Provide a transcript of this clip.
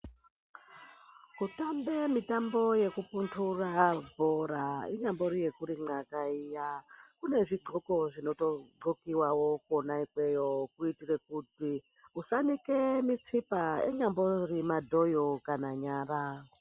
Kutambe mitambo yekupundura bhora inyambori yekurimwaka iya, kune zvidxoko zvinotodxokewawo kona ikweyo kuitire kuti usanike mitsipa inyambori madhoyo kana nyara.